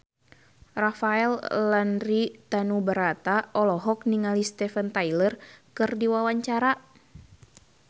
Rafael Landry Tanubrata olohok ningali Steven Tyler keur diwawancara